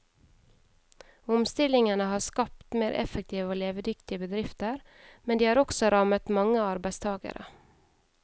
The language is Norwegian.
Omstillingene har skapt mer effektive og levedyktige bedrifter, men de har også rammet mange arbeidstagere.